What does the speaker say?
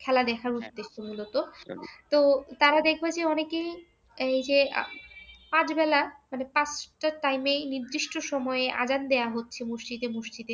খেলা দেখার উদ্দেশ্যে মূলত, তো তারা দেখলো যে অনেকেই এই যে আধ বেলা মানে পাঁচটা time এই নির্দিষ্ট সময়ে আজান দেওয়া হচ্ছে মসজিদে মসজিদে